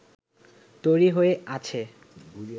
তৈরি হয়ে আছে